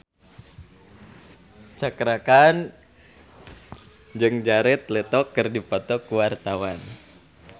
Cakra Khan jeung Jared Leto keur dipoto ku wartawan